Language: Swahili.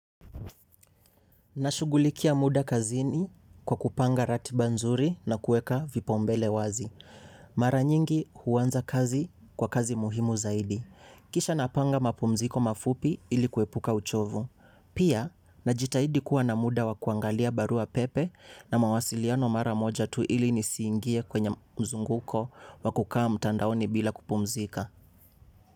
Nashughulikia muda kazini kwa kupanga ratiba nzuri na kuweka vipaumbele wazi. Mara nyingi huanza kazi kwa kazi muhimu zaidi. Kisha napanga mapumziko mafupi ili kuepuka uchovu. Pia, najitahidi kuwa na muda wa kuangalia barua pepe na mawasiliano mara moja tu ili nisiingie kwenye mzunguko wa kukaa mtandaoni bila kupumzika.